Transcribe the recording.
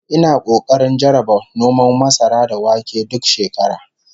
Ina kokarin jarraba noman masara da wake duk shekara